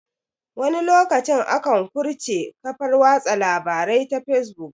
Wani lokacin akan kurse kafar watsa labarai ta fesbuk